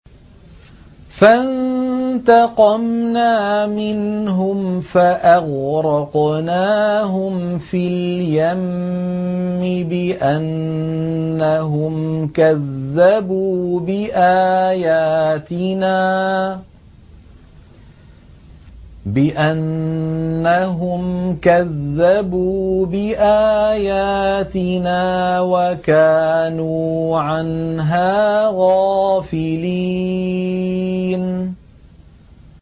فَانتَقَمْنَا مِنْهُمْ فَأَغْرَقْنَاهُمْ فِي الْيَمِّ بِأَنَّهُمْ كَذَّبُوا بِآيَاتِنَا وَكَانُوا عَنْهَا غَافِلِينَ